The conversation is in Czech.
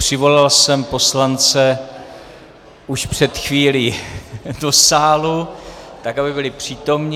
Přivolal jsem poslance už před chvílí do sálu, tak aby byli přítomni.